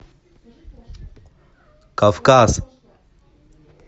кавказ